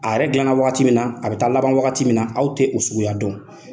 A yɛrɛ dilanna wagati min na, a bɛ taa laban wagati min na, aw tɛ o suguya don.